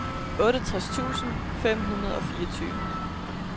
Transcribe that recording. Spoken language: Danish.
otteogtres tusind fem hundrede og fireogtyve